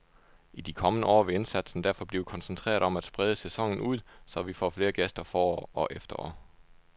I de kommende år vil indsatsen derfor blive koncentreret om at sprede sæsonen ud, så vi får flere gæster forår og efterår.